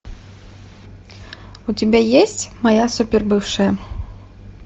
у тебя есть моя супер бывшая